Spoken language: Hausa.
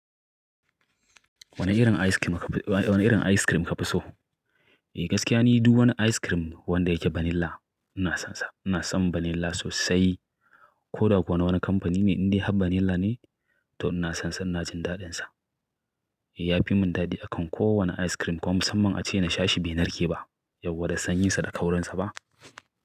Wane irin ice cream kafi so? Eh gaskiya ni duk wani ice cream wanda yake vanilla ina son sa. Ina son vanilla sosai. Koda kuwa na wani kamfani ne inda har vanilla ne to ina son sa, ina jin daɗinsa. Ya fi mun dadi akan kowane ice cream kuma musamman ace na sha shi bai narke ba. Yau da san yin sa da kaurin sa ba.